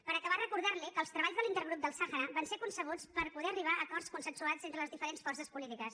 per acabar recordar li que els treballs de l’intergrup del sàhara van ser concebuts per poder arribar a acords consensuats entre les diferents forces polítiques